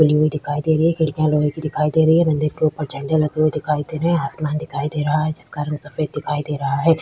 खुली हुई दिखाई दे रही हैं खिड़कियां लोहे की दिखाई दे रहीं हैं मंदिर के उपर झेंडे लगे हुये दीखाई दे रहें हैं आसमान दिखाई दे रहा है जिसक रंग सफेद दीखाई दे रहा है।